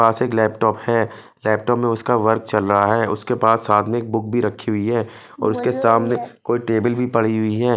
वासिक laptop है laptop में उसका वर्क चल रहा है उसके पास साथ में एक बुक भी रखी है और उसके सामने कोई टेबल भी पड़ी हुई है।